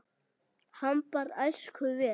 Hann bar æskuna vel.